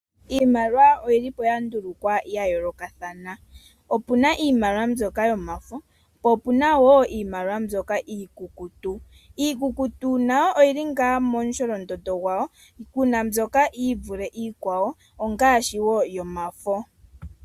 Iimaliwa oyi lipo ya ndulukwa ya yoolokathana. Opuna iimaliwa mbyoka yomafo, po opuna wo iimaliwa mbyoka iikukutu. Iikukutu nayo oyili ngaa mo musholondondo gwa wo pena mbyoka yivule iikwawo, ongaashi wo yomafo.